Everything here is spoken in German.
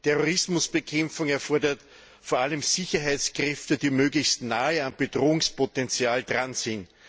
Terrorismusbekämpfung erfordert vor allem Sicherheitskräfte, die möglichst nahe am Bedrohungspotential dran sind.